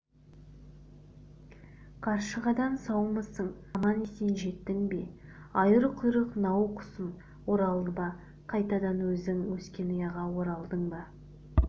қаршығадан саумысың аман-есен жеттің бе айыр құйрық нау-құсым оралдың ба қайтадан өзің өскен ұяға оралдың ба